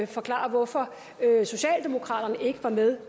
forklare hvorfor socialdemokraterne ikke var med